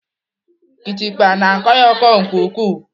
Kịtịkpa na-akọ ya ọkọ nke ukwuu.